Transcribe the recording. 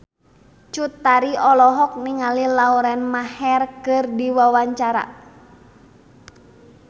Cut Tari olohok ningali Lauren Maher keur diwawancara